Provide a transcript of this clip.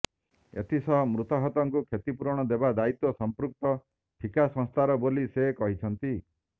ଏଥିସହ ମୃତାହତଙ୍କୁ କ୍ଷତିପୂରଣ ଦେବା ଦାୟିତ୍ୱ ସମ୍ପୃକ୍ତ ଠିକାସଂସ୍ଥାର ବୋଲି ସେ କହିଛନ୍ତି